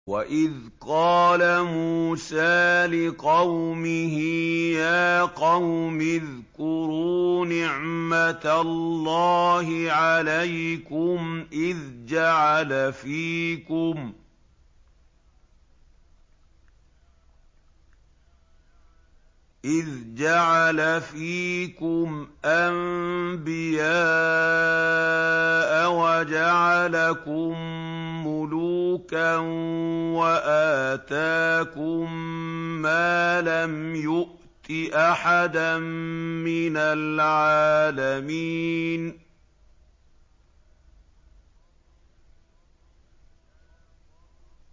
وَإِذْ قَالَ مُوسَىٰ لِقَوْمِهِ يَا قَوْمِ اذْكُرُوا نِعْمَةَ اللَّهِ عَلَيْكُمْ إِذْ جَعَلَ فِيكُمْ أَنبِيَاءَ وَجَعَلَكُم مُّلُوكًا وَآتَاكُم مَّا لَمْ يُؤْتِ أَحَدًا مِّنَ الْعَالَمِينَ